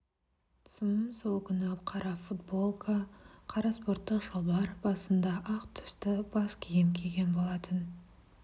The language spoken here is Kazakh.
см сол күні қара футболка қара спорттық шалбар басында ақ түсті бас киім киген болатын